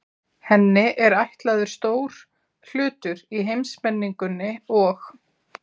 Henni er ætlaður stór hlutur í heimsmenningunni og